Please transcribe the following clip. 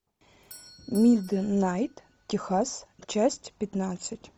миднайт техас часть пятнадцать